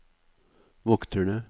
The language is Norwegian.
vokterne